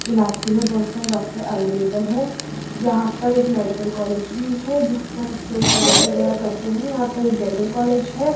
इलाज के लिए बहुत सारे डॉक्टर अवेलेबल है यहां पर एक मेडिकल कॉलेज भी है जिस पर स्टूडेंट पढ़ाई वगैरा करते हैं यहां पर एक डेंटल कॉलेज है।